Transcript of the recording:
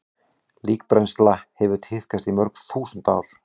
Líkbrennsla hefur tíðkast í mörg þúsund ár.